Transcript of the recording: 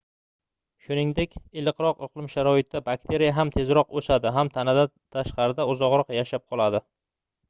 shuningdek iliqroq iqlim sharoitida bakteriya ham tezroq oʻsadi ham tanadan tashqarida uzoqroq yashab qoladi